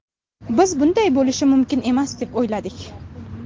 Biz bunday bo‘lishi mumkin emas deb o‘yladik.